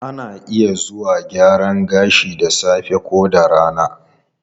Ana iya zuwa gyaran gashi da safe ko da rana.